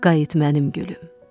Qayıt mənim gülüm.